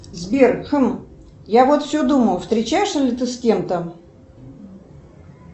сбер хм я вот все думаю встречаешься ли ты с кем то